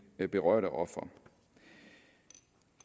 berørte ofre